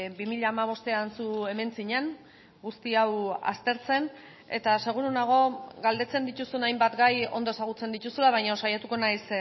bi mila hamabostean zu hemen zinen guzti hau aztertzen eta seguru nago galdetzen dituzun hainbat gai ondo ezagutzen dituzula baina saiatuko naiz